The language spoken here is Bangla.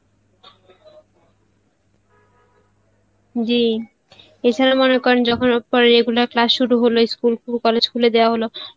জি এ ছাড়া মনে করেন পরে regular class শুরু হলো school college খুলে দেওয়া হলো